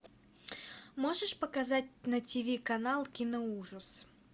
можешь показать на тв канал киноужас